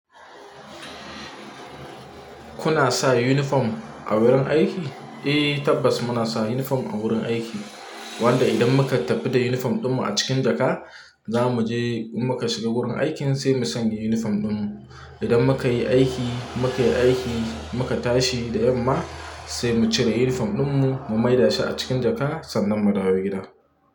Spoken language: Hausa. Kuna sa uniform a wurin aiki? Eh tabbas muna sa uniform a wurin aiki, wanda idan muka tafi da uniform ɗinmu a cikin jaka, za mu je in muka shiga wurin aikin sai mu sanya uniform ɗinmu. Idan muka yi aiki, muka yi aiki, muka tashi da yamma sai mu cire uniform ɗinmu mu mai da shi a cikin jaka sannan mu dawo gida.